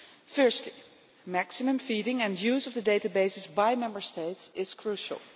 Firstly, maximum feeding and use of the databases by Member States is crucial.